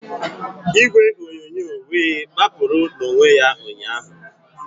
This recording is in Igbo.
Igwe onyonyo wee gbapụrụ n'onwe ya ụnyahụ